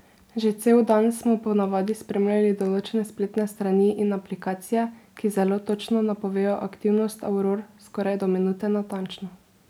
Že cel dan smo ponavadi spremljali določene spletne strani in aplikacije, ki zelo točno napovejo aktivnosti auror skoraj do minute natančno.